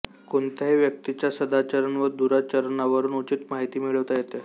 कोणत्याही व्यक्तीच्या सदाचरण व दुराचरणावरून उचित माहिती मिळविता येते